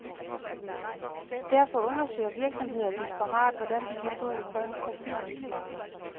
Derfor undersøger virksomheder desperat, hvordan de kan få en grøn profil.